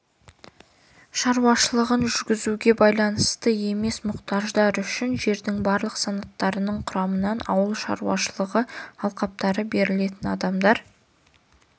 шаруашылығын жүргізуге байланысты емес мұқтаждар үшін жердің барлық санаттарының құрамынан ауыл шаруашылығы алқаптары берілетін адамдар